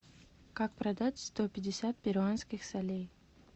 как продать сто пятьдесят перуанских солей